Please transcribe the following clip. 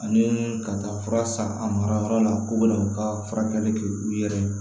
Ani ka taa fura san a mara yɔrɔ la k'u bɛna u ka furakɛli kɛ u yɛrɛ ye